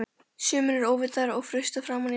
Sumir eru óvitar og frussa framan í mann!